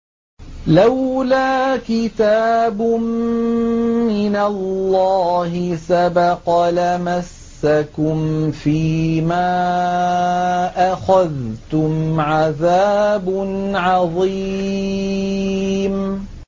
لَّوْلَا كِتَابٌ مِّنَ اللَّهِ سَبَقَ لَمَسَّكُمْ فِيمَا أَخَذْتُمْ عَذَابٌ عَظِيمٌ